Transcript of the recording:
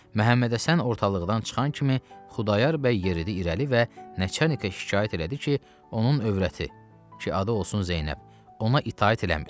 Məhəmmədhəsən ortalıqdan çıxan kimi Xudayar bəy yeridi irəli və Nəçərnikə şikayət elədi ki, onun övrəti, ki adı olsun Zeynəb, ona itaət eləmir.